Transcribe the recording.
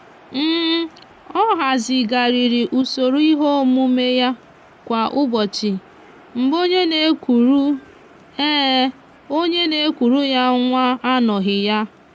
ọ hazigharịrị usoro ihe omume ya kwa ụbọchị mgbe onye na-ekuru onye na-ekuru ya nwa anoghị ya.